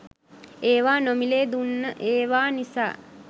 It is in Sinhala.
ඒවා නොමිලේ දුන්න ඒවා නිසා